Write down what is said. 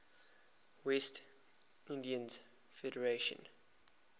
west indies federation